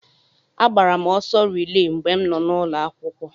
Agbara m ọsọ rilee mgbe m nọ n'ụlọ akwụkwọ.